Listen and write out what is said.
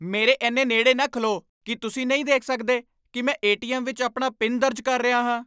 ਮੇਰੇ ਇੰਨੇ ਨੇੜੇ ਨਾ ਖਲੋ! ਕੀ ਤੁਸੀਂ ਨਹੀਂ ਦੇਖ ਸਕਦੇ ਕਿ ਮੈਂ ਏ. ਟੀ. ਐੱਮ. ਵਿੱਚ ਆਪਣਾ ਪਿਨ ਦਰਜ ਕਰ ਰਿਹਾ ਹਾਂ?